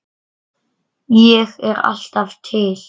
Ég er alltaf til.